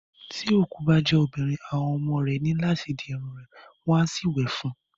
Tí òkú bá jẹ́ obìnrin, àwọn ọmọ rẹ ní láti di irun rẹ̀ wọ́n á sì wè fún un.